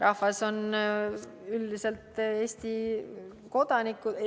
Rahvas on üldiselt Eesti kodanikud ...